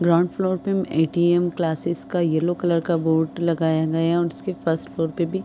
ground floor पे ATM classes का yellow colour का बोर्ड लगाया गया उसके फर्स्ट फ्लोर पे भी --